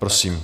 Prosím.